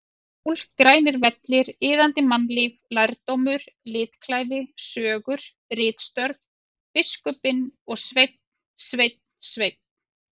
Sól, grænir vellir, iðandi mannlíf, lærdómur, litklæði, sögur, ritstörf, biskupinn og Sveinn, Sveinn, Sveinn!!!